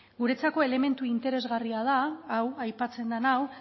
guretzako elementu interesgarria da hau aipatzen den hau